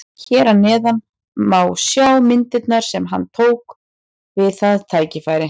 Hér að neðan má sjá myndirnar sem hann tók við það tækifæri.